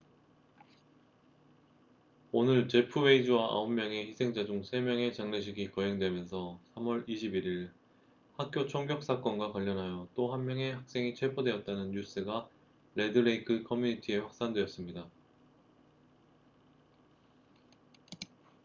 오늘 제프 웨이즈와 9명의 희생자 중 3명의 장례식이 거행되면서 3월 21일 학교 총격 사건과 관련하여 또 한 명의 학생이 체포되었다는 뉴스가 레드 레이크 커뮤니티에 확산되었습니다